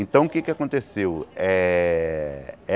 Então, o que é que aconteceu? Eh